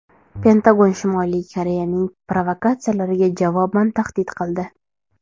Pentagon Shimoliy Koreyaning provokatsiyalariga javoban tahdid qildi.